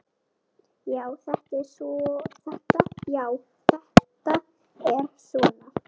Já, þetta er svona.